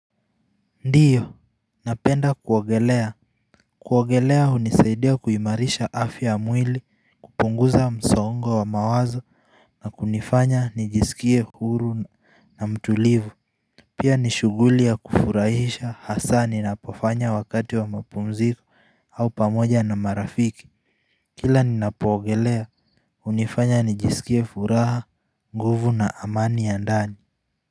Ndiyo napenda kuogelea Kuwagelea unisaidia kuimarisha afya ya mwili kupunguza msongo wa mawazo na kunifanya nijisikie huru na mtulivu Pia ni shuguli ya kufurahisha hasa ninapofanya wakati wa mapumziko au pamoja na marafiki Kila ninapogelea unifanya nijisikie furaha nguvu na amani ya ndani.